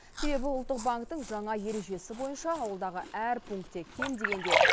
себебі ұлттық банктің жаңа ережесі бойынша ауылдағы әр пункте кем дегенде